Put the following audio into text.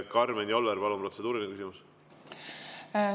Karmen Joller, palun, protseduuriline küsimus!